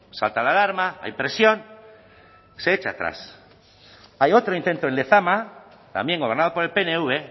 salta la alarma hay presión se echa atrás hay otro intento en lezama también gobernado por el pnv